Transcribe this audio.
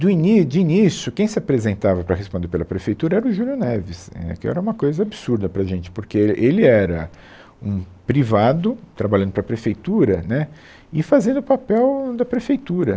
Do ini, de início, quem se apresentava para responder pela prefeitura era o Júlio Neves, é, que era uma coisa absurda para a gente, porque ele era um privado trabalhando para a prefeitura, né, e fazendo o papel da prefeitura.